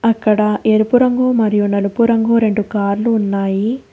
అక్కడ ఎరుపు రంగు మరియు నలుపు రంగు రెండు కార్లు ఉన్నాయి.